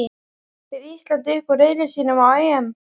Fer Ísland upp úr riðli sínum á EM?